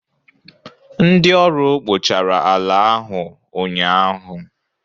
ndị ọrụ kpochara ala ahu ụnyaahụ